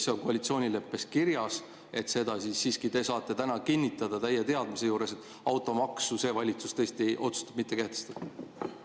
See on koalitsioonileppes kirjas, aga kas siiski te saate täna täie teadmise juures kinnitada, et see valitsus tõesti otsustab automaksu mitte kehtestada?